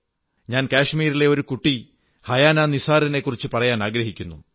ഞാൻ കശ്മീരിലെ ഒരു കുട്ടി ഹനായാ നിസാറിനെക്കുറിച്ച് പറയാനാഗ്രഹിക്കുന്നു